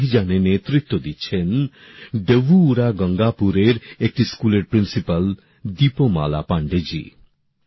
এই অভিযানে নেতৃত্ব দিচ্ছেন ডভুউরা গঙ্গাপুরএর একটি স্কুলের প্রিন্সিপাল দীপমালা পান্ডেজি